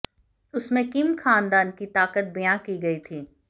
उसमें किम खानदान की ताकत बयां की गई थी